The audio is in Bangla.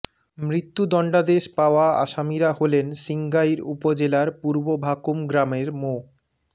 মৃত্যুদণ্ডাদেশ পাওয়া আসামিরা হলেন সিঙ্গাইর উপজেলার পূর্ব ভাকুম গ্রামের মো